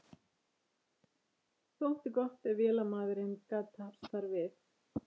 Þótti gott ef vélamaðurinn gat hafst þar við.